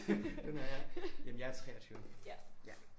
Den er jeg jamen jeg er 23